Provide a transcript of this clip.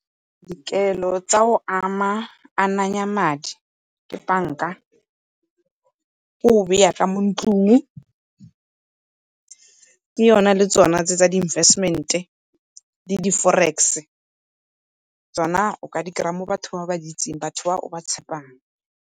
Dikelo tsa go ananya madi ke banka, ke go beya ka mo ntlung, ke yona le tsona tse tsa di-investmet-e le di-forex-e. Tsona o ka di kry-a mo batho ba o ba di itseng, batho ba o ba tshepang.